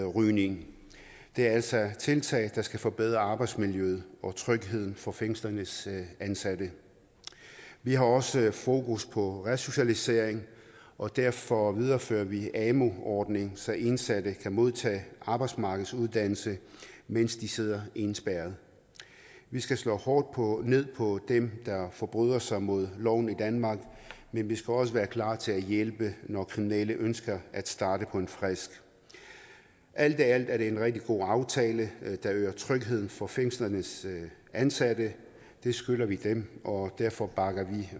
rygning det er altså tiltag der skal forbedre arbejdsmiljøet og trygheden for fængslernes ansatte vi har også fokus på resocialisering og derfor viderefører vi amu ordningen så indsatte kan modtage arbejdsmarkedsuddannelse mens de sidder indespærret vi skal slå hårdt ned på dem der forbryder sig mod loven i danmark men vi skal også være klar til at hjælpe når kriminelle ønsker at starte på en frist alt i alt er det en rigtig god aftale der øger trygheden for fængslernes ansatte det skylder vi dem og derfor bakker vi